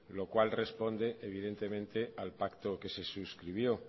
lo cual responde evidentemente al pacto que se suscribió